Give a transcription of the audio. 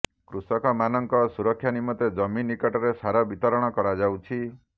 କୃଷକମାନଙ୍କ ସୁରକ୍ଷା ନିମନ୍ତେ ଜମି ନିକଟରେ ସାର ବିତରଣ କରାଯାଉଛି